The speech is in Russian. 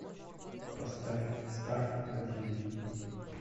поставь старт на тв